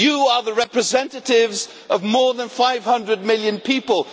You are the representatives of more than 500 million people.